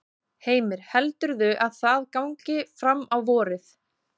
Heimir: Heldurðu að það gangi fram á vorið?